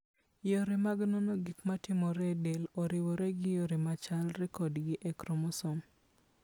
Yore mag nono gik matimore e del, oriwore gi yore ma chalre kodgi e chromosome.